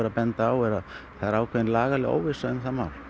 að benda á er að það er ákveðin lagaleg óvissa um það mál